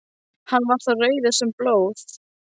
Var hann þá rauður sem blóð.